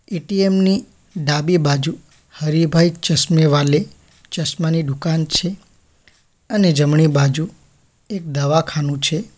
ATM ની ડાબી બાજુ હરિભાઈ ચશ્મે વાલે ચશ્માની દુકાન છે અને જમણી બાજુ એક દવાખાનું છે.